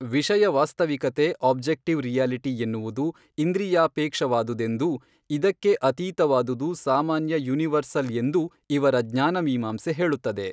ವಿಷಯವಾಸ್ತವಿಕತೆ objective reality ಎನ್ನುವುದು ಇಂದ್ರಿಯಾಪೇಕ್ಷವಾದುದೆಂದೂ ಇದಕ್ಕೆ ಅತೀತವಾದುದು ಸಾಮಾನ್ಯ ಯೂನಿವರ್ಸಲ್ ಎಂದೂ ಇವರ ಜ್ಞಾನಮೀಮಾಂಸೆ ಹೇಳುತ್ತದೆ.